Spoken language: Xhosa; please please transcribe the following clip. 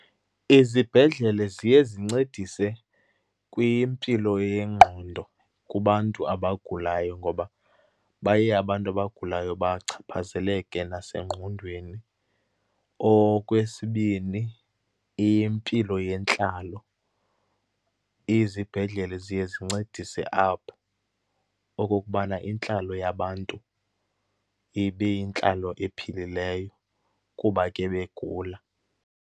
Izibhedlele ziye zincedise kwimpilo yengqondo kubantu abagulayo ngoba baye abantu abagulayo bachaphazeleke nasengqondweni. Okwesibini, impilo yentlalo. Izibhedlele ziye zincedise apho, okokubana intlalo yabantu ibe yintlalo ephilileyo, kuba ke begula.